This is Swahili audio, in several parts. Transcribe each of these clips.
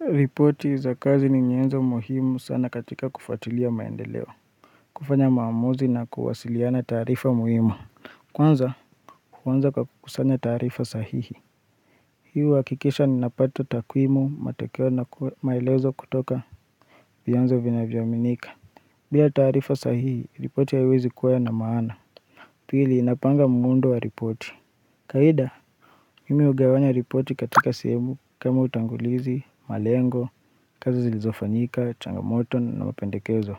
Ripoti za kazi ni nyenzo muhimu sana katika kufatilia maendeleo. Kufanya maamuzi na kuwasiliana tarifa muhimu. Kwanza, kwanza kwa kusanya tarifa sahihi. Hii huhakikisha ninapata takwimu, matekeo na maelezo kutoka vyanzo vinavyoaminika. Bila taarifa sahihi, ripoti haiwezi kuwa na maana. Pili, inapanga muundo wa ripoti. Kawaida, mimi hugawanya ripoti katika sehemu kama utangulizi, malengo, kazi zilizofanyika, changamoto na mapendekezo.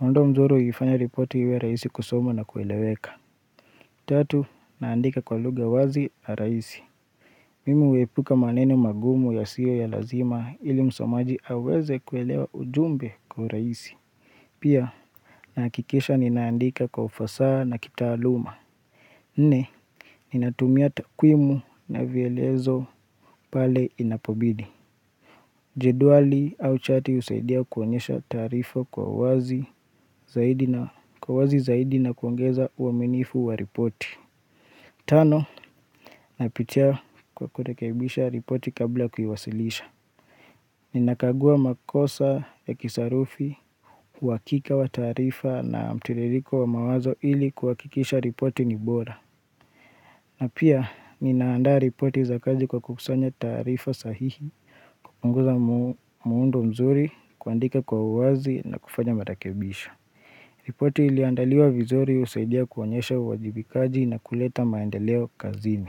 Muundo mzuri huifanya ripoti iwe rahisi kusomwa na kueleweka. Tatu, naandika kwa lugha wazi na rahisi. Mimu huepuka maneno magumu yasiyo ya lazima ili msomaji aweze kuelewa ujumbe kwa urahisi. Pia, nahakikisha ninaandika kwa ufasaha na kitaaluma. Nne, ninatumia takwimu na vielezo pale inapobidi. Jedwali au chati husaidia kuonyesha tarifa kwa uwazi zaidi na kuongeza uaminifu wa ripoti. Tano, napitia kwa kuirekebisha ripoti kabla kuiwasilisha. Ninakagua makosa ya kisarufi, uhakika wa taarifa na mtiririko wa mawazo ili kuhakikisha ripoti ni bora. Na pia, ninaandaa ripoti za kazi kwa kukusanya taarifa sahihi, kupunguza muundo mzuri, kuandika kwa uwazi na kufanya marakebisho. Ripoti iliyoandaliwa vizuri husaidia kuonyesha uwajibikaji na kuleta maendeleo kazini.